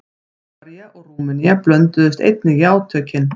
Búlgaría og Rúmenía blönduðust einnig í átökin.